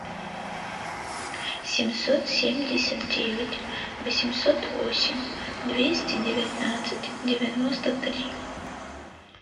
семьсот семьдесят девять восемьсот восемь двести девятнадцать девяносто три